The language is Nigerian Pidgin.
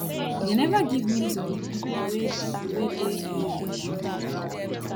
dem neva give di names of di pipo wey pipo wey dey um involved